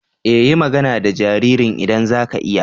E! yi magana da jaririn idan za ki iya.